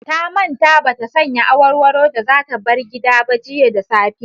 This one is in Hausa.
Ta manta ba ta sanya awarwaro da za ta bar gida ba jiya da safe.